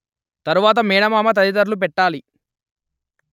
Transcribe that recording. తరువాత మేనమామ తదితరులు పెట్టాలి